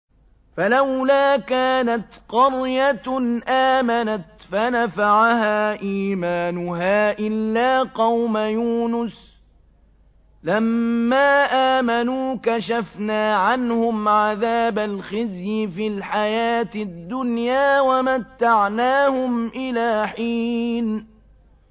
فَلَوْلَا كَانَتْ قَرْيَةٌ آمَنَتْ فَنَفَعَهَا إِيمَانُهَا إِلَّا قَوْمَ يُونُسَ لَمَّا آمَنُوا كَشَفْنَا عَنْهُمْ عَذَابَ الْخِزْيِ فِي الْحَيَاةِ الدُّنْيَا وَمَتَّعْنَاهُمْ إِلَىٰ حِينٍ